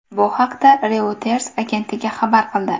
Bu haqda Reuters agentligi xabar qildi .